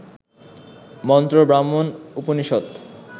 মন্ত্র, ব্রাহ্মণ, উপনিষৎ